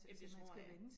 Jamen det tror jeg